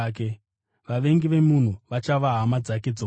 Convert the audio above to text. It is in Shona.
vavengi vomunhu vachava hama dzake dzomumba.’